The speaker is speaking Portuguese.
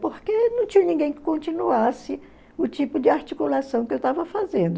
Porque não tinha ninguém que continuasse o tipo de articulação que eu estava fazendo.